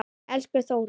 Elsku Þórunn.